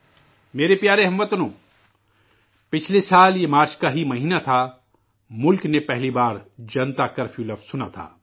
میرے پیارے ہم وطنو، پچھلے سال یہ مارچ کا ہی مہینہ تھا، ملک نے پہلی بار جنتا کرفیو کا لفظ سنا تھا